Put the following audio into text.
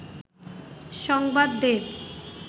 সংবাদ দেব